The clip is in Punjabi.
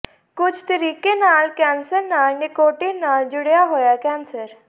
ਕੁਝ ਤਰੀਕੇ ਨਾਲ ਕੈਂਸਰ ਨਾਲ ਨਿਕੋਟੀਨ ਨਾਲ ਜੁੜਿਆ ਹੋਇਆ ਕੈਂਸਰ